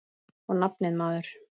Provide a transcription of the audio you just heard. Og nafnið, maður.